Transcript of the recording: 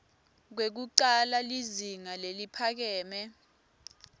lwekucala lizinga leliphakeme